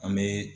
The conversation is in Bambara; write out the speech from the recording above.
An bɛ